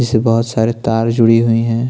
जिसे बहुत सारी तार जुड़ी हुई है।